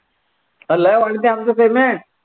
अरे लय वाढते आमचं payment